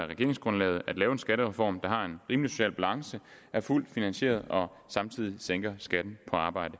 regeringsgrundlaget at lave en skattereform der har en rimelig social balance er fuldt finansieret og samtidig sænker skatten på arbejde